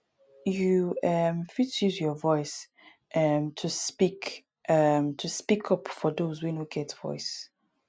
you um fit use your voice um to speak um to speak up for those wey no get voice